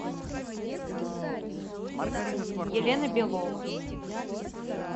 елена белова